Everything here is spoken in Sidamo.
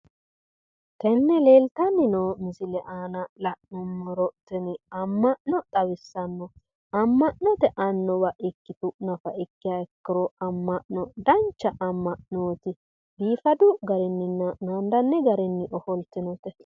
Tenne leeltanni noo misile aana la'nummoro tini amma'no xawissanno amma'note annuwa ikkitu nafa ikkiha ikkiro amma'no dancha amma'nooti biifadu garinninna naandanni garinni ofoltinote.